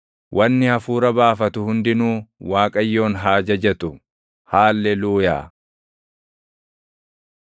Wanni hafuura baafatu hundinuu Waaqayyoon haa jajatu. Haalleluuyaa.